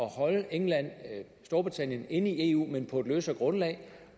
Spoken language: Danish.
holde england og storbritannien inde i eu men på et løsere grundlag